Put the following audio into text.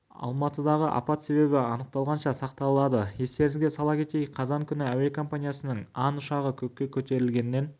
алматыдағы апат себебі анықталғанша сақталады естеріңізге сала кетейік қазан күні әуекомпаниясының ан ұшағы көкке көтерілгеннен